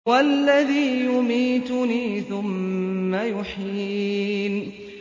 وَالَّذِي يُمِيتُنِي ثُمَّ يُحْيِينِ